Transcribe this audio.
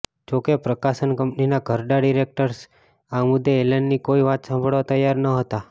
જોકે પ્રકાશન કંપનીના ઘરડા ડિરેક્ટર્સ આ મુદ્દે એલનની કોઈ વાત સાંભળવા તૈયાર નહોતા